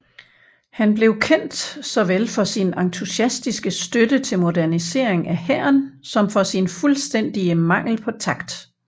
Han blev kendt såvel for sin entusiastiske støtte til modernisering af hæren som for sin fuldstændige mangel på takt